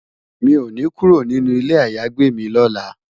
Mi ó ni kúró ninú ilé àyágbé mi lòlá